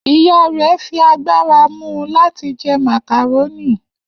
Iya rẹ fi agbara mu u lati jẹ macaroni.